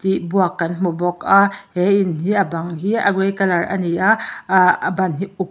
tih buak kan hmu bawk a he in hi a bang hi a grey colour a ni a aa a bang hi a uk--